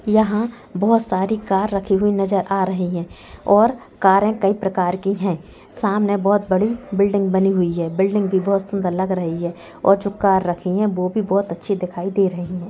यहाँ बहुत सारी कार रखी हुई नजर आ रही है और कारे कई प्रकार की है समने बहुत बड़ी बिल्डिंग बनी हुई है बिल्डिंग भी बहुत सुंदर लग रही है और जो कार रखी है वह भी बहुत अच्छी दिखाई दे रही है।